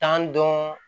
Tan dɔn